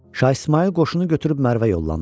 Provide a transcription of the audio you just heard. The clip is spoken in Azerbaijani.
Şah İsmayıl qoşunu götürüb Mərvə yollandı.